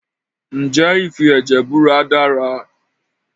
Ǹjẹ́ ìfi ẹ̀jẹ̀ búra dára?